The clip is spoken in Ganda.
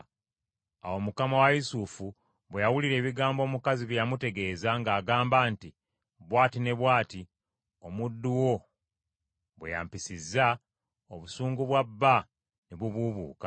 Awo mukama wa Yusufu bwe yawulira ebigambo omukazi bye yamutegeeza ng’agamba nti, “Bw’ati ne bw’ati omuddu wo bwe yampisizza,” obusungu bwa bba ne bubuubuuka.